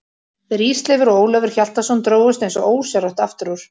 Þeir Ísleifur og Ólafur Hjaltason drógust eins og ósjálfrátt aftur úr.